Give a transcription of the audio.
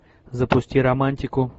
запусти романтику